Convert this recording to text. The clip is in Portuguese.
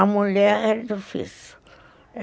A mulher era difícil.